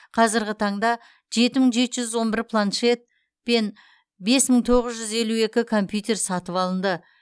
қазіргі таңда жеті мың жеті жүз он бір планшет пен бес мың тоғыз жүз елу екі компьютер сатып алынды